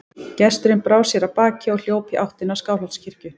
Gesturinn brá sér af baki og hljóp í áttina að Skálholtskirkju.